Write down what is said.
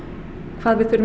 hvað við þurfum að